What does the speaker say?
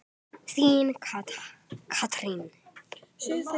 Þín, Katrín.